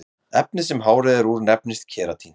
Efnið sem hárið er úr nefnist keratín.